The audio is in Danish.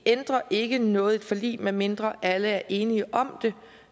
ikke ændrer noget i et forlig medmindre alle er enige om det